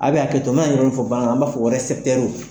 A be haketo, n bi na i yɔrɔnin fɔ bamanankan na .An b'a fɔ